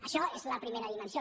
això és la primera dimensió